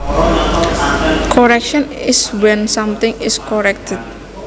Correction is when something is corrected